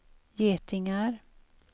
getingar